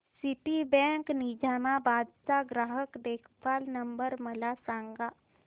Citibank Nizamabad चा ग्राहक देखभाल नंबर मला सांगा